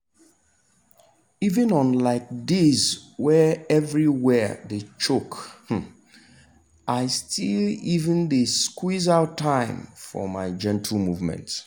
even on um days wey everywhere choke um i still um dey squeeze out time for my gentle movement.